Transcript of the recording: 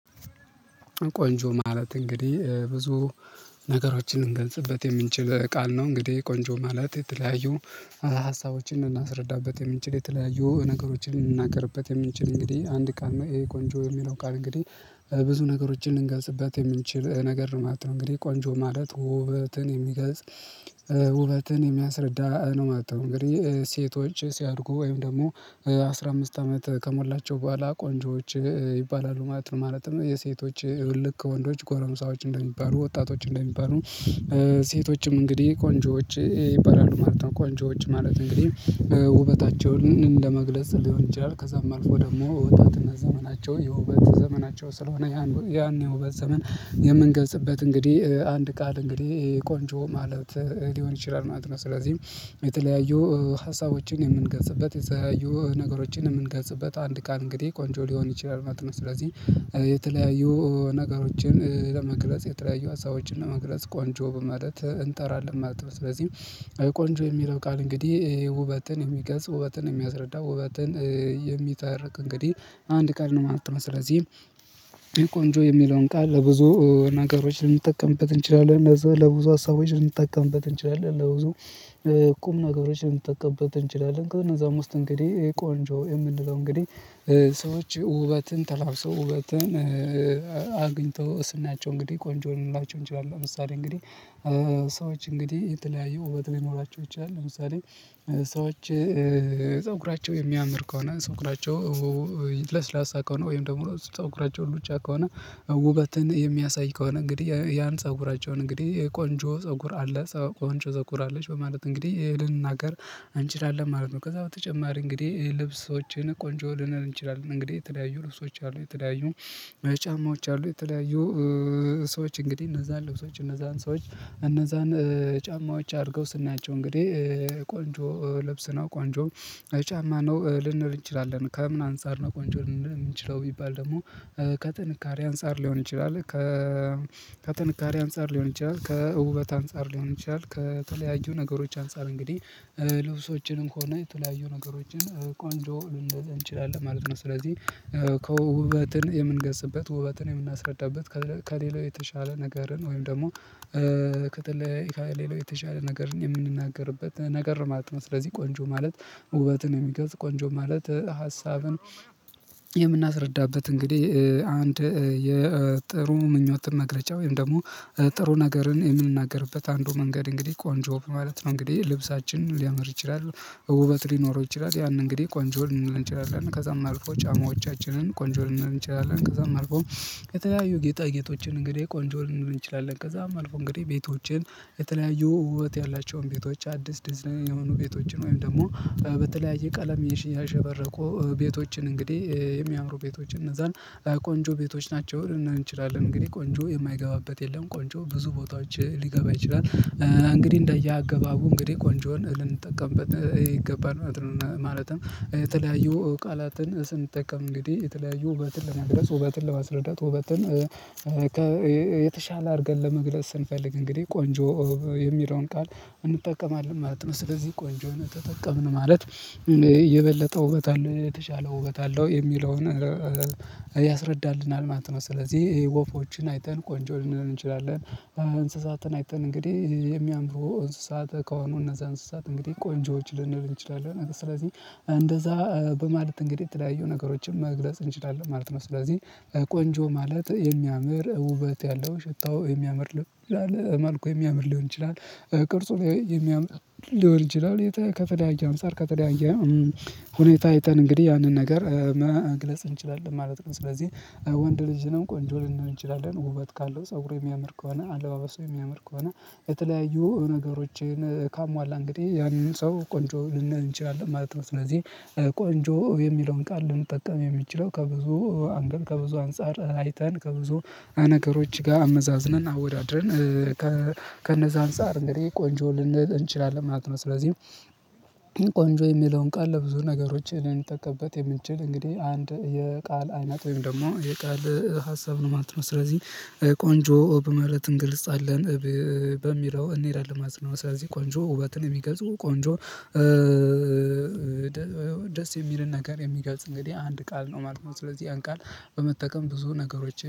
ቆንጆ ማለት እንግዲህ ብዙ ነገሮችን ልንገንጽበት የምንችል ቃል ነው እንግዲህ ቆንጆ ማለት የተለያዩ ሀሳቦችን እናስረዳበት የምንችል የተለያዩ ነገሮችን ልንናገርበት የምንችል እንግዲህ አንድ ቃል ነው። ይሄ ቆንጆ የሚለው ቃል እንግዲህ ብዙ ነገሮችን ልንገስበት የምንችል ነገር ነው ማለት ነው። እንግዲህ ቋንጆ ማለት ውበትን የሚገልጽ ውበትን የሚያስረዳ ነው ማለት ነው። እንግዲህ ሴቶች ሲያድጉ ወይም ደግሞ አስራ አምስት አመት ከሞላቸው በኋላ ቆንጆዎች ይባላሉ ማለት ነው። ማለትም የሴቶች እልክ ወንዶች ጎረምሳዎች እንደሚባሉ ወጣቶች እንደሚባሉ ሴቶችም እንግዲህ ኮንጆዎች ይባላሉ ማለት ነው። እንኳን ጆዎች ማለት እንግዲህ ውበታቸውን እንደመግለጽ ሊሆን ይችላል ከዛም አልፎ ደግሞ ወጣትነት ዘመናቸውን የውበት ዘመናቸው ስለሆነ ያን የውበት ዘመን። የምንገዝበት እንግዲህ አንድ ቃል እንግዲህ ቆንጆ ማለት ሊሆን ይችላል አይደለም ስለዚህም የተለያዩ ሀሳቦችን የምንገዝበት የተለያዩ ነገሮችን የምንገዝበት አንድ ቃል እንግዲህ ቆንጆ ሊሆን ይችላል ማለት ነው። ስለዚህ የተለያዩ ነገሮችን ለመግለጽ የተለያዩ ሀሳቦችን ለመግለጽ ቋንጆ በማለት እንጠራለን ማለት ነው። ስለዚህ ቆንጆ የሚለው ቃል እንግዲህ ውበትን የሚገልጽ ውበትን የሚያስረዳ ውበትን የሚተርክ እንግዲህ አንድ ቀል ነው ማለት ነው። ስለዚህ ቆንጆ የሚለውን ቃል ለብዙ ነገሮች ልንጠቀምበት እንችላለን ለዛ ለብዙ ሀሳቦች ልንጠቀምበት እንችላለን ለብዙ ቁም ነገሮችን ልንጠቀምበት እንችላለን ከነዛም ውስጥ እንግዲህ የቆንጆ የምንለው እንግዲህ ሰዎች ውበትን ተላብሶ ውበትን አግኝቶ ስናቸው እንግዲህ ቆንጆ ልንላቸው እንችላለን። ለምሳሌ እንግዲህ ሰዎች እንግዲህ የተለያዩ ውበት ሊኖራቸው ይቻላል። ለምሳሌ ሰዎች ፀጉራቸው የሚያምር ከሆነ ፀጉራቸው ለስላሳ ከሆነ ወይም ደግሞ ሰው ፀጉራቸው ሉጫ ከሆነ ውበትን የሚያሳይ ከሆነ እንግዲህ ያን ፀጉራቸውን እንግዲህ ቆንጆ ፀጉር አለ ቆንጆ ፀጉር አለሽ በማለት እንግዲህ ልንናገር እንችላለን ማለት ነው። ከዛ በተጨማሪ እንግዲህ ይሄ ልብሶችን ቆንጆ ልንል እንችላለን እንግዲህ የተለያዩ ልብሶች አሉ የተለያዩ ጫማዎች አሉ። የተለያዩ ሰዎች እንግዲህ እነዛን ልብሶች እነዛን ሰዎች እነዛን ጫማዎች አርገው ስናያቸው እንግዲህ ቆንጆ ለብስ ነው ቋንጆ ጫማ ነው ልንል እንችላለን። ከምን አንፃር ነው ቆንጆ ልንል የምንችለው ቢባል ደግሞ ከጥንካሬ አንፃር ሊሆን ይችላል። ከጥንካሬ አንፃር ሊሆን ይችላል፣ ከውበት አንፃር ሊሆን ይችላል፣ ከተለያዩ ነገሮች አንፃር እንግዲህ ልብሶችንም ከሆነ የተለያዩ ነገሮችን ቆንጆ ልንል እንችላለን ማለት ነው። ስለዚህ ከውበትን የምንገልጵበት ውበትን የምናስረዳበት ከሌላው የተሻለ ነገርን ወይም ደግሞ ክትል ሌላው የተሻለ ነገርን የምንናገርበት ነገር ነው ማለት ነው። ማጥመጥ ስለዚህ ቆንጆ ማለት ውበትን የሚገዝ ቆንጆ ማለት ሀሳብን የምናስረዳበት እንግዲህ አንድ የጥሩ ምኞት መግለጫ ወይም ደግሞ ጥሩ ነገርን የምንናገርበት አንዱ መንገድ እንግዲህ ቆንጆ ማለት ነው። እንግዲህ ልብሳችን ሊያመር ይችላል ውበት ሊኖረው ይችላል ያንን እንግዲህ ቆንጆ ሊንሆን እንችላለን እና ከዛም አልፎ ጫማዎቻችንን ቆንጆ ልንሆን እንችላለን። ከዛም አልፎ ከተለያዩ ጌጣ ጌጦችን እንግዲህ ቆንጆ ልንሆን እንችላለን። ከዛም አልፎ እንግዲህ ቤቶችን ከተለያዩ ውበት ያላቸውን ቤቶች አዲስ ዲዛይን የሆኑ ቤቶችን ወይም ደግሞ በተለያየ ቀለም ያሸበረቁ ቤቶችን እንግዲህ የሚያምሩ ቤቶች እነዛን ቆንጆ ቤቶች ናቸው ልንል እንችላለን። እንግዲህ ቆንጆ የማይገባበት የለም ቆንጆ ብዙ ቦታዎች ሊገባ ይችላል እንግዲህ እንዳያገባቡ እንግዲህ ቆንጆን ልንጠቀምበት ይገባል ማለት ነው። ማለትም የተለያዩ ቃላትን ስንጠቀም እንግዲህ የተለያዩ ውበትን ለመግለጽ ውበትን ለመስረዳት ውበትን የተሻለ አድርገን ለመግለጽ ስንፈልግ እንግዲህ ቆንጆ የሚለውን ቃል እንጠቀማለን ማለት ነው። ስለዚህ ቆንጆ ነው ተጠቀምን ማለት እየበለጠ ውበት አለው የተሻለ ውበት አለው የሚለውን ያስረዳልናል ማለት ነው። ስለዚህ ይሄ ወፎችን አይተን ቆንጆ ልንል እንችላለን እንስሳትን አይተን እንግዲህ የሚያምረው እንስሳት ከሆኑ እነዛ እንስሳት እንግዲህ ቆንጆዎች ልንል እንችላለን። ስለዚህ እንደዛ በማለት እንግዲህ የተለያዩ ነገሮችን መግለጽ እንችላለን ማለት ነው። ስለዚህ ቆንጆ ማለት የሚያምር ውበት ያለው። ሽታው የሚያምር ልብል አለ ማልኩ የሚያምር ሊሆን ይችላል። ቅርጹ ላይ የሚያምር ሊሆን ይችላል ከተለየያ አንጽር ከተለያያ ሁኔታ አይተን እንግዲህ ያንን ነገር መግለጽ እንችላለን ማለት ነው። ስለዚህ ወንድ ልጅ ነው ቆንጆ ልንሆን እንችላለን ውበት ካለው ፀጉሩ የሚያምር ከሆነ አለባበሱ የሚያምር ከሆነ የተለያዩ ነገሮችን ካሟላ እንግዲህ ያንን ሰው ቆንጆ ልንል እንችላለን ማለት ነው። ስለዚህ ቆንጆ የሚለውን ቃል ልንጠቀም የሚችለው ከብዙ አንገት ከብዙ አንፃር አይተን ከብዙ ነገሮች ጋር አመዛዝነን አወዳድረን ከነዛ አንፃር እንግዲህ ቆንጆ ልንል እንችላለን ማለት ነው። ስለዚህ ቆንጆ የሚለውን ቃል ለብዙ ነገሮች ልንጠቀበት የምንችል እንግዲህ አንድ የቃል አይነት ወይም ደግሞ የቃል ሀሳብ ነው ማለት ነው። ስለዚህ ቆንጆ በማለት እንግልጻለን በሚለው እንሄዳለን ማለት ነው። ስለዚህ ቆንጆ ውበትን የሚገዙ ቆንጆ ደስ የሚልን ነገር የሚገልጽ እንግዲህ አንድ ቃል ነው ማለት ነው። ስለዚህ ያን ቃል በመጠቀም ብዙ ነገሮች